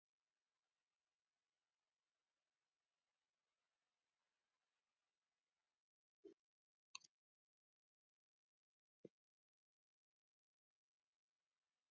Sá var átján ára gamall